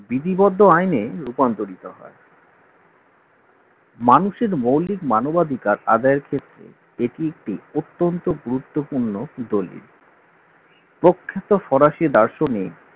বিধিবদ্ধ আইনের রূপান্তরিত হয় মানুষের মৌলিক মানবাধিকার আদায়ের ক্ষেত্রে এটি একটি অত্যন্ত গুরুত্বপূর্ণ দলিল প্রখ্যাত ফরাসি দার্শনিক